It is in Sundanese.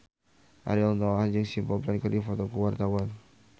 Ariel Noah jeung Simple Plan keur dipoto ku wartawan